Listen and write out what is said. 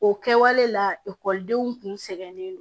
O kɛwale la ekɔlidenw kun sɛgɛnnen don